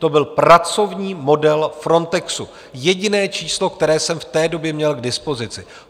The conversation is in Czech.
To byl pracovní model Frontexu, jediné číslo, které jsem v té době měl k dispozici.